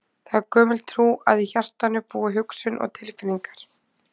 Það er gömul trú að í hjartanu búi hugsun og tilfinningar.